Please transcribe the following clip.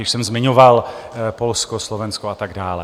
Již jsem zmiňoval Polsko, Slovensko a tak dále.